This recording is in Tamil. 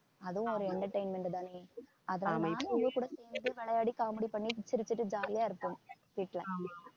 அதுவும் ஒரு entertainment தானே அதான் நானும் அவங்ககூட சேர்ந்து விளையாடி comedy பண்ணி சிரிச்சிட்டு jolly யா இருப்போம் வீட்ல